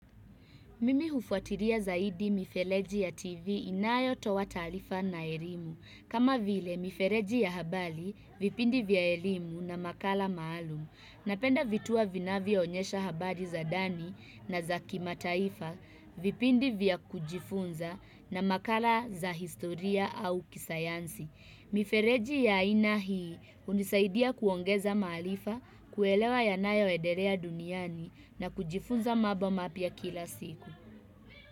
Mimi hufuatilia zaidi mifereji ya TV inayotoa taarifa na elimu. Kama vile mifereji ya habari, vipindi vya elimu na makala maalum. Napenda vituo vinavyo onyesha habari za ndani na za kimataifa, vipindi vya kujifunza na makala za historia au kisayansi. Mifereji ya aina hii hunisaidia kuongeza maarifa, kuelewa yanayo endelea duniani na kujifunza mambo mapya kila siku.